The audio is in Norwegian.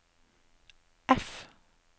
F